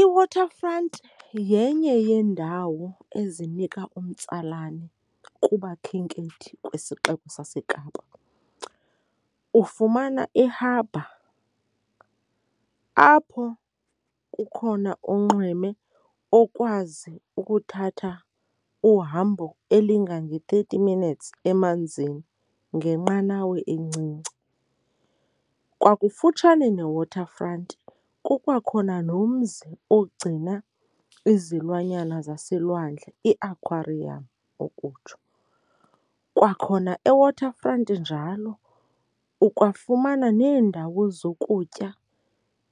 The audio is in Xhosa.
IWaterfront yenye yeendawo ezinika umtsalane kubakhenkethi kwisixeko saseKapa. Ufumana i-harbour apho kukhona unxweme okwazi ukuthatha uhambo elingange-thirty minutes emanzini ngenqanawa encinci. Kwakufutshane neWaterfront kukwakhona nomzi ogcina izilwanyana zaselwandle, i-aquarium ukutsho. Kwakhona eWaterfront njalo ukwafumana neendawo zokutya,